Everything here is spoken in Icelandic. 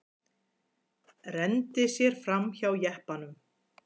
Renndi sér framhjá jeppanum.